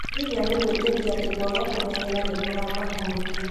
Lilian gwĩtĩkia atĩ kwaga kũmenyera nĩ kũramahutia.